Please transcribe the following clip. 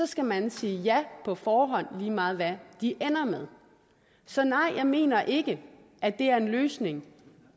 skal man sige ja på forhånd lige meget hvad de ender med så nej jeg mener ikke at det er en løsning